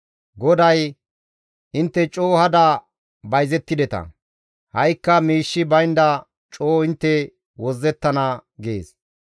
GODAY, «Intte coo hada bayzettideta; ha7ikka miishshi baynda coo intte wozzettana» gees.